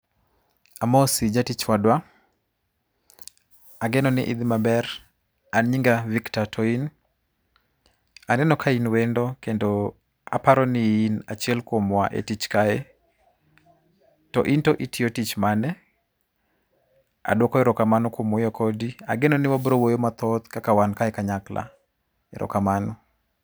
Amosi jatich wadwa, ageno ni idhi maber. An nyinga Victor, to in? Aneno ka in wendo, kendo aparoni in achiel kuom wa e tich kae. To in to itiyo tich mane? Adwoko erokamano kuom wuoyo kodi, ageno ni wabrowuoyo mathoth kaka wan kae kanyakla. Erokamano.